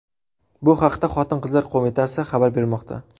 Bu haqda Xotin-qizlar qo‘mitasi xabar bermoqda.